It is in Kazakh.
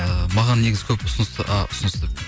ііі маған негізі көп ұсыныс